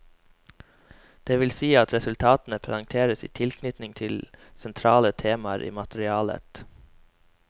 Det vil si at resultatene presenteres i tilknytning til sentrale temaer i materialet.